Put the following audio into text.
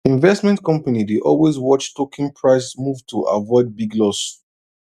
investment company dey always watch token price move to avoid big loss